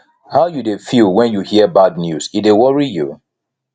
how you dey feel when you hear bad news e dey worry you